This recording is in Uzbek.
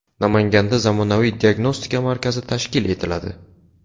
Namanganda zamonaviy diagnostika markazi tashkil etiladi.